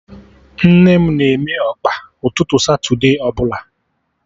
Nne m na-eme Ọkpa ụtụtụ satude ọbụla